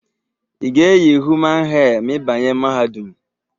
I ga eyi human hee ma i banye mahadum?